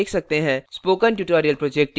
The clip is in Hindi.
spoken tutorial project team